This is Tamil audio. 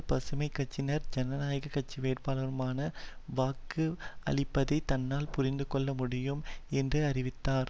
பசுமை கட்சியினர் ஜனநாயக கட்சி வேட்பாளருக்கு வாக்கு அளிப்பதை தன்னால் புரிந்து கொள்ள முடியும் என்று அறிவித்தார்